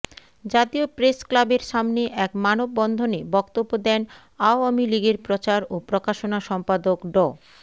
জাতীয় প্রেসক্লাবের সামনে এক মানববন্ধনে বক্তব্য দেন আওয়ামী লীগের প্রচার ও প্রকাশনা সম্পাদক ড